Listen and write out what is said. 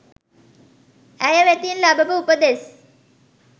ඇය වෙතින් ලබපු උපදෙස්